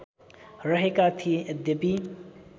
रहेका थिए यद्यपि